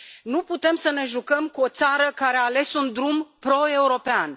Nu putem să ne jucăm cu o țară care a ales un drum proeuropean.